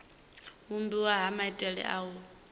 vhumbiwa ha maitele a u